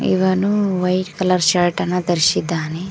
ಇವನು white colour shirt ಅನ್ನ ಧರಿಸಿದ್ದಾನೆ.